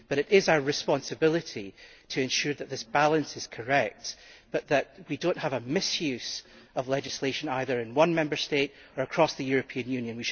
it is our responsibility to ensure that this balance is correct but that we do not have a misuse of legislation, either in one Member State or across the European Union.